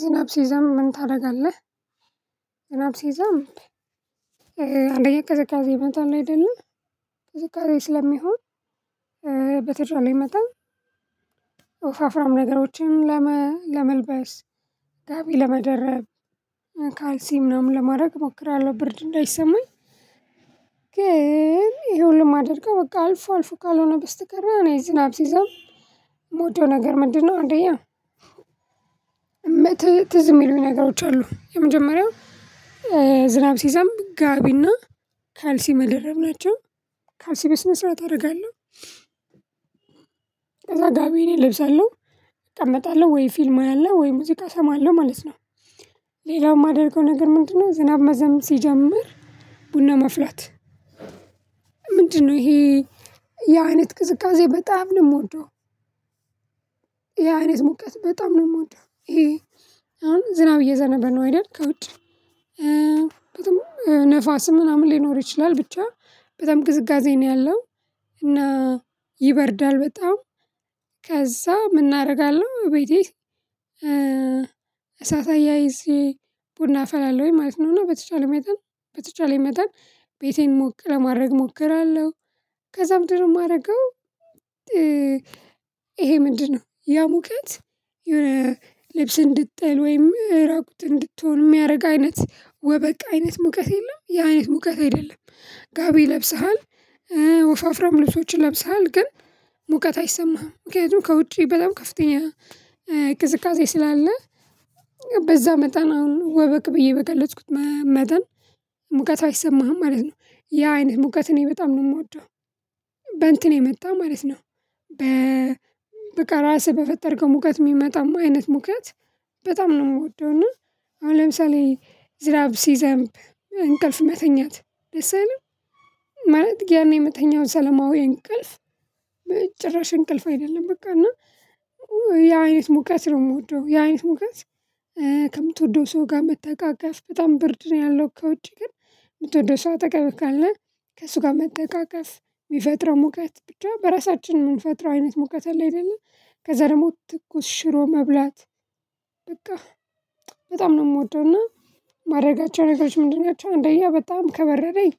ዝናብ ሲዘንብ ምን ታደርጋለህ? ዝናብ ሲዘንብ አንደኛ ቅዝቃዜ ይመጣል አይደለ? ቅዝቃዜ ስለሚሆን በተቻለኝ መጠን ኦፍ አፍራም ነገሮችን ለመልበስ፣ ጋቢ ለመደረብ፣ ካልሲ ምናምን ለማድረግ እሞክራለሁ ብርድ እንዳይሰማኝ። ግን ይሄ ሁሉ እማድርገ በቃ አልፎ አልፎ ካልሆነ በስተቀር እኔ ዝናብ ሲዘንብ የምወደው ነገር ምንድነው አንደኛ ትዝ የሚሉኝ ነገሮች አሉ። የመጀመሪያው ወፈፍራም ነገሮችን ለመልበስ፣ ጋቢ ለመደረብ፣ ካልሲ ምናምን ለማድረግ እሞክራለሁ ብርድ እንዳይሰማኝ። ግን ይሄን ሁሉ ማደርገው በቃ አልፎ አልፎ ካልሆነ በስተቀር እኔ ዝናብ ሲዘንብ የምወደው ነገር ምንድነው አንደኛ ከዛ ጋቢ እኔ እለብሳለው፤ እቀመጣለሁ ወይ ፊልም አለ ወይ ሙዚቃ እሰማለሁ ማለት ነው። ሌላው የማደርገው ነገር ምንድነው? ዝናብ መዝነብ ሲጀምር ቡና ማፍላት፤ ምንድነው ይሄ ያ አይነት ቅዝቃዜ በጣም ነው የምወደው። ያ አይነት ሙቀት በጣም ነው የምወደው። አሁን ዝናብ እየዘነበ ነው አይደል። ከውጭ በጣም ነፋስም ምናምን ሊኖር ይችላል ብቻ በጣም ቅዝቅዜ ነው ያለው። እና ይበርዳል በጣም። ምን አደርጋለሁ ቤቴ እሳት አያይዤ ቡና አፈላለሁኝ ማለት ነው። እና በተቻለኝ መጠን በተቻለኝ መጠን ቤቴን ሞቅ ለማድረግ እሞክራለሁ። ከዛም ምንድን ነው የማደርገው ይሄ ምንድነው ያ ሙቀት የሆነ ልብስ እንድጠል ወይም ራቁት እንድትሆን የሚያደርግ አይነት ወበቅ አይነት ሙቀት የለም። ያ አይነት ሙቀት አይደለም። ጋቢ ለብሰሃል። ወፋፍራም ልብሶችን ለብሰሃል። ግን ሙቀት አይሰማህም። ምክንያቱም ከውጪ በጣም ከፍተኛ ቅዝቃዜ ስላለ በዛ መጠን አሁን ወበቅ ብዬ በገለጽኩት መጠን ሙቀቱ አይሰማህም ማለት ነው። ያ አይነት ሙቀት እኔ በጣም ነው የምወደው። በእንትን የመጣ ማለት ነው። በቃ ራስህ በፈጠርከው ሙቀት የሚመጣም አይነት ሙቀት በጣም ነው የምወደው። እና አሁን ለምሳሌ ዝናብ ሲዘንብ እንቅልፍ መተኛት ደስ አይልም? ማለት ያኔ የምተኛው ሰለማዊ እንቅልፍ ጭራሽ እንቅልፍ አይደለም በቃ። እና ያ አይነት ሙቀት ነው የምወደው። ያ አይነት ሙቀት ከምትወደው ሰው ጋር መተቃቀፍ በጣም ብርድ ነው ያለው ከውጪ ግን የምትወደው ሰው አጠገብህ ካለ ከእሱ ጋር መተቃቀፍ የሚፈጥረው ሙቀት ብቻ በራሳችን የምንፈጥረው አይነት ሙቀት አለ አይደለ፤ ከዛ ደግሞ ትኩስ ሽሮ መብላት በቃ በጣም ነው የምወደው። እና ማደርጋቸው ነገሮች ምንድን ናቸው? እንደኛ በጣም ከበረደኝ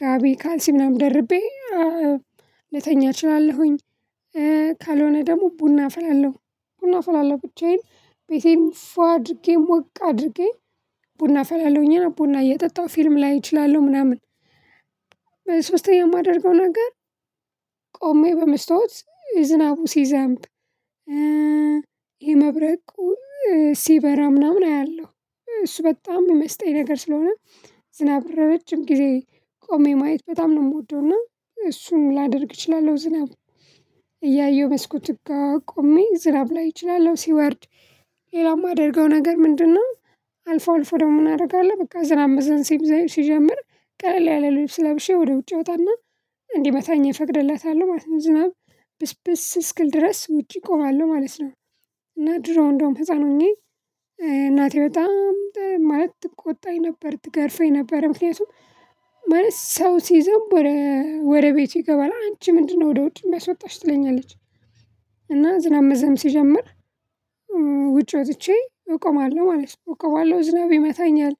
ጋቢ ካልሲ ምናምን ደርቤ ልተኛ እችላለሁኝ። ካልሆነ ደግሞ ቡና አፈላለው። ቡና አፈላለው ብቻዬን ቤቴን ፉ አድርጌ ሞቅ አድርጌ ቡና አፈላለውኝ። ቡና እየጠጣሁ ፊልም ላይ እችላለሁ ምናምን። ሶስተኛ የማደርገው ነገር ቆሜ በመስታወት ዝናቡ ሲዘንብ የመብረቅ ሲበራ ምናምን አያለሁ። እሱ በጣም የሚመስጠኝ ነገር ስለሆነ ዝናብ ረጅም ጊዜ ቆሜ ማየት በጣም ነው የምወደው። እና እሱን ላደርግ እችላለሁ። ዝናብ እያየሁ መስኮት ጋር ዝናብ ላይ እችላለሁ። ሲወርድ ሌላም የማደርገው ነገር ምንድነው? አልፎ አልፎ ደግሞ ምን አደርጋለሁ በቃ ዝናብ መዝነብ ሲጀምር ቀለል ያለ ልብስ ለብሼ ወደ ውጭ እወጣና እንዲመታኝ እፈቅድላታለሁ ማለት ነው። ዝናብ ብስብስ እስክል ድረስ ውጪ እቆማለሁ ማለት ነው። እና ድሮ እንደውም ህፃን ሆኜ እናቴ በጣም ማለት ትቆጣኝ ነበር። ትገርፈኝ ነበር። ምክንያቱም ማለት ሰው ሲዘንብ ወደ ቤቱ ይገባል። አንቺ ምንድነው ወደ ውጭ የሚያስወጣሽ? ትለኛለች። እና ዝናብ መዝነብ ሲጀምር ውጪ ወጥቼ እቆማለሁ ማለት ነው። እቆማለሁ ዝናብ ይመታኛል።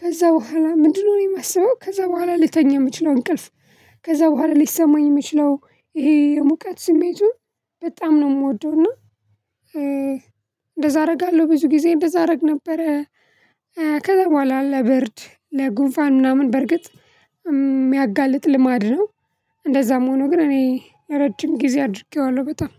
ከዛ በኋላ ምንድነው የማስበው ከዛ በኋላ ልተኛ የምችለው እንቅልፍ ከዛ በኋላ ሊሰማኝ የሚችለው ይሄ የሙቀት ስሜቱን በጣም ነው የምወደው። እና እንደዛ አደርጋለሁ። ብዙ ጊዜ እንደዛ አደርግ ነበረ። ከዛ በኋላ ለብርድ ለጉንፋን ምናምን በርግጥ የሚያጋልጥ ልማድ ነው። እንደዛም ሆኖ ግን እኔ ለረጅም ጊዜ አድርጌዋለሁ በጣም።